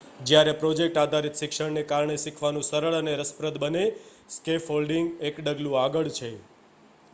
જ્યારે પ્રોજેક્ટ આધારિત શિક્ષણ ને કારણે શીખવાનું સરળ અને રસપ્રદ બને સ્કેફોલ્ડિંગ એક ડગલું આગળ છે